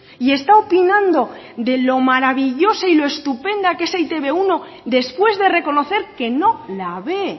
y esta opinando de lo maravillosa y estupenda que es e te be uno después de reconocer que no la ve